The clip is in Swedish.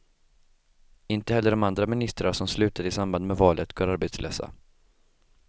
Inte heller de andra ministrar som slutade i samband med valet går arbetslösa.